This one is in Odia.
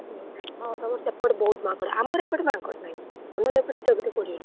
ହଁ ତମର ସେପଟେ ବହୁତ ମାଙ୍କଡ, ଆମର ଏଇପଟେ ମାଙ୍କଡ ନାହିଁ, ଆମର ଏପଟେ ଜଗତେ ପଡିବନି।